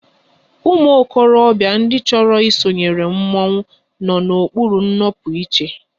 Ụmụ okorobịa ndị chọrọ isonyere mmọnwụ nọ n'okpuru ịnọpụ iche